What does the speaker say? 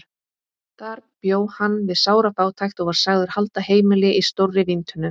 Þar bjó hann við sára fátækt og var sagður halda heimili í stórri víntunnu.